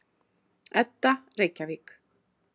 Edda, Reykjavík.